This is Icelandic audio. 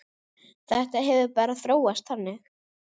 Þetta hefur bara þróast þannig.